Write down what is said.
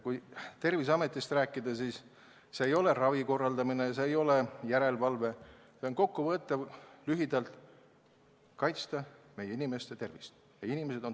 Kui Terviseametist rääkida, siis põhjuseks ei ole ravi korraldamine ega järelevalve teostamine, vaid lühidalt kokku võttes on selleks meie inimeste tervise kaitsmine.